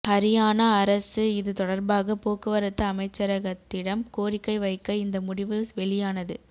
ஹரியானா அரசு இது தொடர்பாக போக்குவரத்து அமைச்சரகத்திடம் கோரிக்கை வைக்க இந்த முடிவு வெளியானது